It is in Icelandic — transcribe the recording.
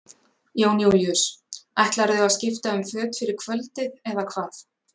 Jón Júlíus: Ætlarðu að skipta um föt fyrir kvöldið eða hvað?